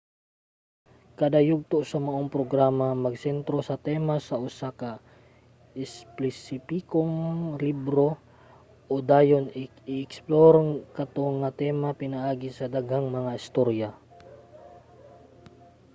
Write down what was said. kada yugto sa maong programa magsentro sa tema sa usa ka espesipikong libro ug dayon i-eksplor kato nga tema pinaagi sa daghang mga istorya